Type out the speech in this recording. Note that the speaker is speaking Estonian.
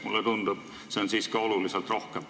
Mulle tundub, et siiski oluliselt rohkem.